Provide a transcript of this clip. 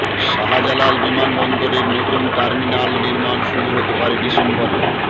শাহজালাল বিমানবন্দরের নতুন টার্মিনাল নির্মাণ শুরু হতে পারে ডিসেম্বরে